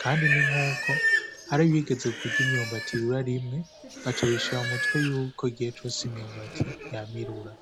kandi n'inkuko hari abigeze kurya imyumbati irura rimwe baca bishira mu mutwe yuko igihe cose imyumbati yama irura.